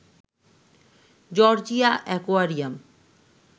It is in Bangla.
Georgia aquarium